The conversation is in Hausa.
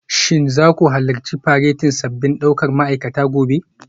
Shin za ku halarci faretin sabbin daukar ma'aikata gobe?